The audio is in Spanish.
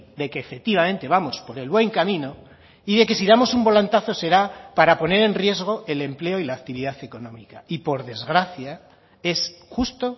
de que efectivamente vamos por el buen camino y de que si damos un volantazo será para poner en riesgo el empleo y la actividad económica y por desgracia es justo